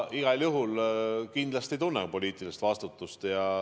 Igal juhul kindlasti ma tunnen poliitilist vastutust.